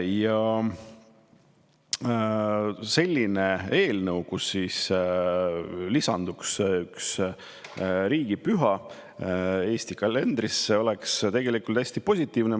Ja selline eelnõu, kus lisanduks üks riigipüha Eesti kalendrisse, oleks tegelikult hästi positiivne.